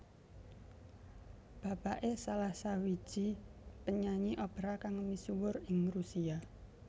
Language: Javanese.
Bapakké salah sawiji penyanyi opera kang misuwur ing Rusia